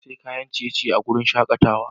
Na sayi kayan ciye-ciye a wurin shakatawa.